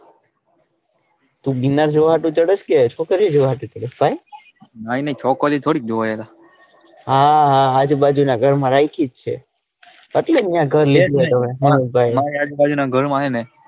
તું મીના જોવા હાટુ જોવા ચડ્યો કે છોકરીઓ જોવા હાટુ ચડ્યો નઈ નઈ છોકરીઓ થોડી જોવાય હા હા આજુબાજુના ગાર માં રાયખી જ છે એટલે અહીંયા ગર લે મારી આજુબાજુના ગર માં હેને?